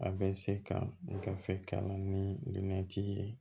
A bɛ se ka gafe kalan ni lolati ye